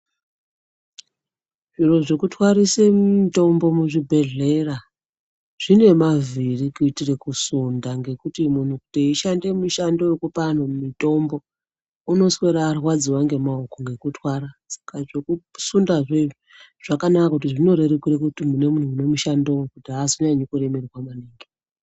Zviro zvekutwarise mutombo muchibhedhlera zvine mavhiri kuitire kusunda ngokuti munhu teyishande mushando wekupa vanhu mutombo unoswera arwadziwa ngemaoko ngokutwara saka zvekusunda izvezvo zvakanaka kuti zvinorerukire kuti kune munhu ane mushando kuti azonyanyi kuremerwa.